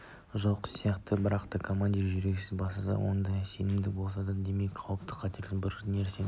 жоқ сияқты бірақ та командир жүрексіздене бастаса онда сенімділік болмаса демек қауіпті қатерлірек бір нәрсенің